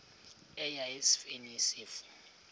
eya esifeni isifo